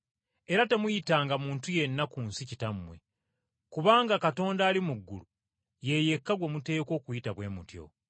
Era temuyitanga muntu yenna ku nsi ‘Kitammwe,’ kubanga Katonda ali mu ggulu ye yekka gwe muteekwa okuyita bwe mutyo.